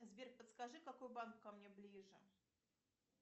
сбер подскажи какой банк ко мне ближе